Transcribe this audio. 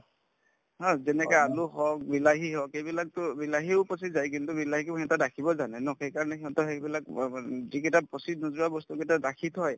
যেনেকে আলু হওক, বিলাহী হওক এইবিলাকতো বিলাহীও পচি যায় কিন্তু বিলাহীকো সিহঁতে ৰাখিব জানে ন সেইকাৰণে সিহঁতৰ সেইবিলাক ব ব যিকেইটা পচি নোযোৱা বস্তু কেইটা ৰাখি থয়